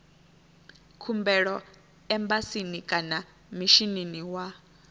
khumbelo embasini kana mishinini wa